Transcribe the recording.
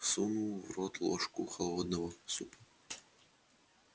сунул в рот ложку холодного супа